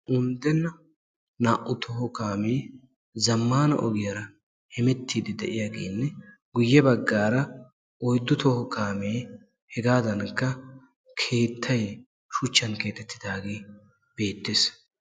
Unddenna naa"u toho kaamee zammaana ogiyaara hemettiiddi diyaagenne guyye baggaara oyddu toho kaamee hegaadankka keettay shuchchan keexettidaagee beettes.